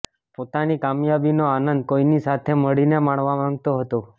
પોતાની કામયાબીનો આનંદ કોઈની સાથે મળીને માણવા માંગતો હતો